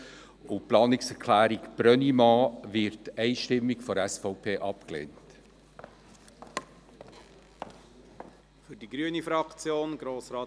Die Planungserklärung Brönnimann wird von der SVP einstimmig abgelehnt.